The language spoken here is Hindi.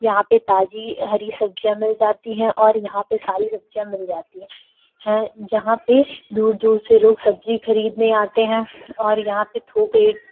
यहाँ पे ताज़ी हरी सब्जियां मिल जाती है और यहाँ पे सारी सब्जियां मिल जाती है हैं। यहाँ पे दूर दूर से लोग सब्जी खरीदने आते हैं और यहाँ पे थोक रेट --